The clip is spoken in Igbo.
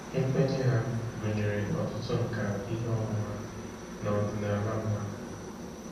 Nkwenye ha gụnyere ọtụtụ nkà ihe ọmụma na ọdịnala mmadụ.